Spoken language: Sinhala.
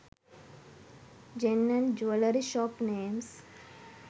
gem and jewellery shop names